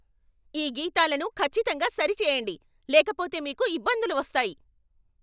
ఈ గీతాలను ఖచ్చితంగా సరిచేయండి, లేకపోతే మీకు ఇబ్బందులు వస్తాయి!